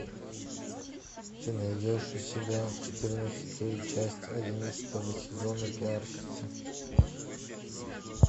ты найдешь у себя четырнадцатую часть одиннадцатого сезона пиарщица